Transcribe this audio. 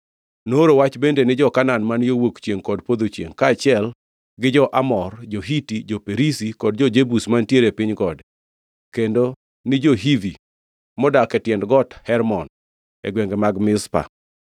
Nooro wach bende ni jo-Kanaan man yo wuok chiengʼ kod podho chiengʼ, kaachiel gi jo-Amor, jo-Hiti, jo-Perizi, kod jo-Jebus mantiere e piny gode; kendo ni jo-Hivi modak e tiend got Hermon e gwenge mag Mizpa.